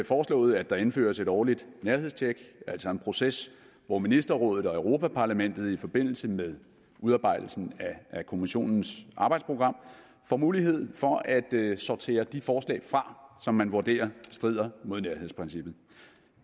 foreslået at der indføres et årligt nærhedstjek altså en proces hvor ministerrådet og europa parlamentet i forbindelse med udarbejdelsen af kommissionens arbejdsprogram får mulighed for at sortere de forslag fra som man vurderer strider mod nærhedsprincippet